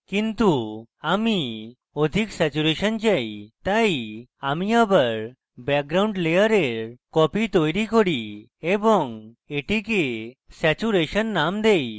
কিন্তু আমি অধিক স্যাচুরেশন চাই তাই আমি আবার background layer copy তৈরী করি এবং এটিকে saturation name দেই